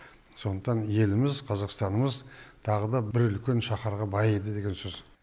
сондықтан еліміз қазақстанымыз тағы да бір үлкен шахарға байиды деген сөз